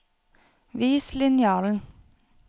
Vis linjalen